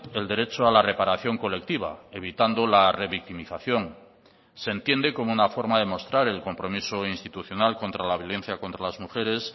el derecho a la reparación colectiva evitando la revictimización se entiende como una forma de mostrar el compromiso institucional contra la violencia contra las mujeres